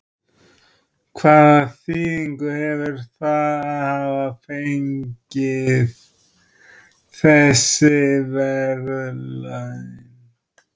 Erla Hlynsdóttir: Hvaða þýðingu hefur það að hafa fengið þessi verðlaun?